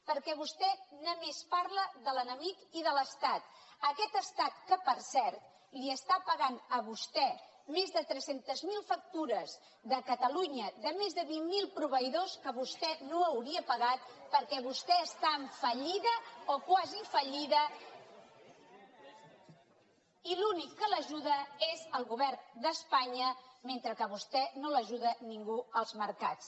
perquè vostè només parla de l’enemic i de l’estat aquest estat que per cert li està pagant a vostè més de tres cents miler factures de catalunya de més de vint mil proveïdors que vostè no hauria pagat perquè vostè està en fallida o quasi fallida que l’ajuda és el govern d’espanya mentre que a vostè no l’ajuda ningú als mercats